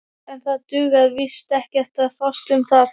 En það dugar víst ekkert að fást um það.